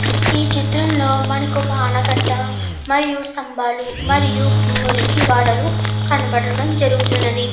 ఈ చిత్రంలో మనకొక ఆనకట్ట మరియు స్తంబాలు మరియు మురికి వాడలు కనపడడం జరుగుతున్నది.